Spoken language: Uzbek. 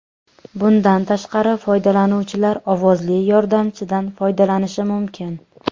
Bundan tashqari, foydalanuvchilar ovozli yordamchidan foydalanishi mumkin.